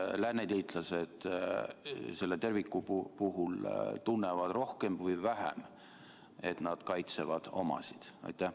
Kas lääneliitlased selle puhul tunnevad rohkem või vähem, et nad kaitsevad omasid?